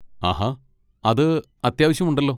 ആഹാ, അത് അത്യാവശ്യം ഉണ്ടല്ലോ!